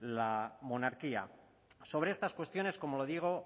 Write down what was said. la monarquía sobre estas cuestiones como le digo